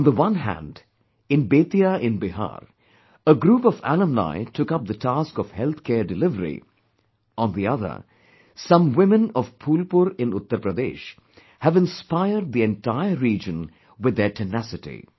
On one hand, in Bettiah in Bihar, a group of alumni took up the task of health care delivery, on the other, some women of Phulpur in Uttar Pradesh have inspired the entire region with their tenacity